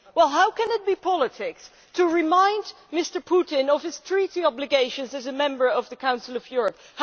How can it be politics to remind Mr Putin of his treaty obligations as a Member of the Council of Europe?